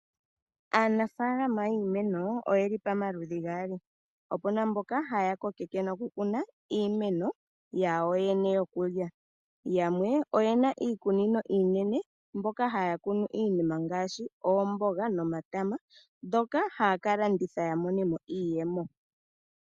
Aanafaalama yiimeno oyeli pamaludhi gaali. Opuna mboka haya kokeke noku kuna iimeno yawo yene yokulya. Yamwe oyena iikunino iinene mboka haya kunu iinima ngaashi oomboga nomatama ndhoka ha ya kalanditha ya mone mo iiyemo.